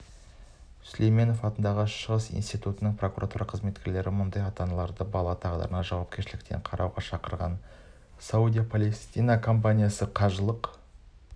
сүлейменов атындағы шығыстану институтының прокуратура қызметкерлері мұндай ата-аналарды балаларының тағдырына жауапкершілікпен қарауға шақырады саудия-палестина компаниясы қажылық